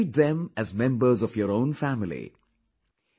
Treat them as members of your own family...